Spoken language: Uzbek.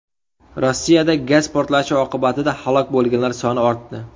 Rossiyada gaz portlashi oqibatida halok bo‘lganlar soni ortdi.